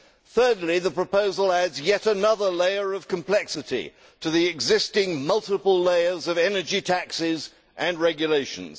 Thirdly, the proposal adds yet another layer of complexity to the existing multiple layers of energy taxes and regulations.